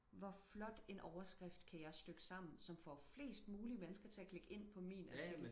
hvor flot en overskrift kan jeg stykke sammen som får flest mullige mennesker til at klikke ind på min artikel